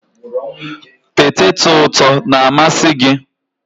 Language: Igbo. Peteto ụtọ na-amasị gị?